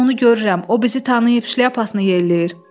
Mən onu görürəm, o bizi tanıyıb şlyapasını yelləyir.